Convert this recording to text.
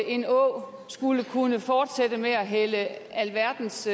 en å skulle kunne fortsætte med at hælde alverdens